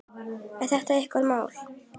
Er þetta ykkar mál?